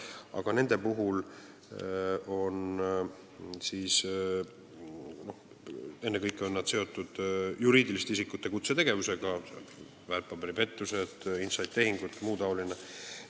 Aga ennekõike on need seotud juriidiliste isikute kutsetegevusega: väärtpaberipettused, inside-tehingud ja muu taoline.